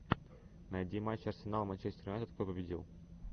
найти матч арсенал манчестер юнайтед кто победил